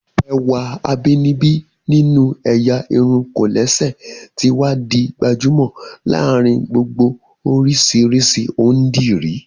Ẹwà abínibí nínú ẹ̀yà irun kòlẹ́sẹ̀ ti wá di gbajúmọ̀ láàárín gbogbo oríṣiríṣi ondiri